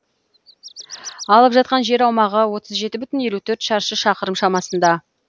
алып жатқан жер аумағы отыз жеті бүтін елу төрт шаршы шақырым шамасында